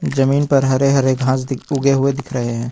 जमीन पर हरे हरे घास उगे हुवे दिख रहे हैं।